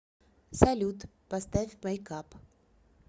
салют поставь мэйк ап